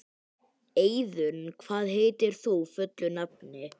Eiðunn, hvað heitir þú fullu nafni?